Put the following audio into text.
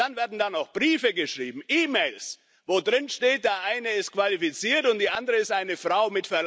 Und dann werden auch noch Briefe geschrieben, E Mails, wo drinsteht, der eine ist qualifiziert, und die andere ist eine Frau.